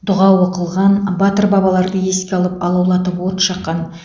дұға оқылған батыр бабаларды еске алып алаулатып от жаққан